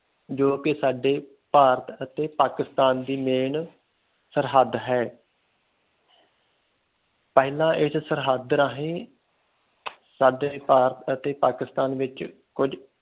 ਜੋ ਕਿ ਸਾਡੇ ਭਾਰਤ ਅਤੇ ਪਾਕਿਸਤਾਨ ਦੀ ਸਰਹਦ ਹੈ ਪਹਿਲਾਂ ਇਸ ਸਰਹਦ ਰਹੀ ਭਾਰਤ ਅਤੇ ਪਾਕਿਸਤਾਨ ਵਿਚ ਕੁਛ